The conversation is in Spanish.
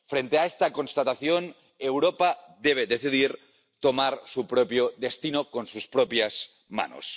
Frente a esta constatación, Europa debe decidir tomar su propio destino en sus propias manos.